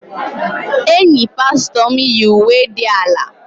Enyi pastọ m yi uwe dị ala.